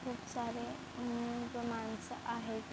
खूप सारे अम -अम -अम मानस आहेत.